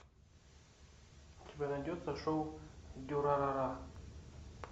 у тебя найдется шоу дюрарара